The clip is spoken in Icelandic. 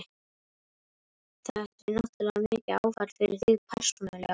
Þetta er náttúrlega mikið áfall fyrir þig persónulega?